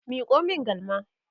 Miko min galma!